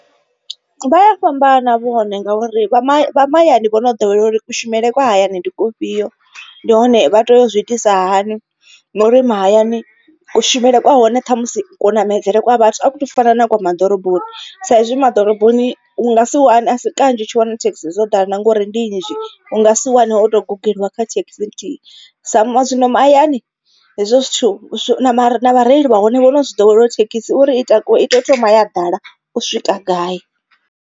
Vha ya fhambana vhone ngauri vha vha mahayani vhono ḓowela uri kushumele kwa hayani ndi kufhio ndi hone vha tea uzwi itisa hani na uri mahayani kushumele kwa hone ṱhamusi ku ṋamedzele kwa vhathu a ku tu fana na kwa ma ḓoroboni. Sa izwi ma ḓoroboni u nga si wane asi kanzhi u tshi wana thekhisi dzo ḓala ngori ndi nnzhi. U nga si wane wo to guḓeliwa kha thekhisi nthihi sa zwino mahayani hezwo zwithu mara vhareili vha hone vhono zwi ḓowela uri thekhisi uri i thoma ya ḓala u swika gai.